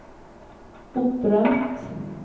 opprømt